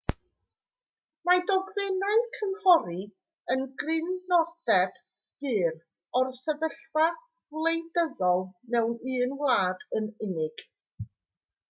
mae dogfennau cynghori yn grynodeb byr o'r sefyllfa wleidyddol mewn un wlad yn unig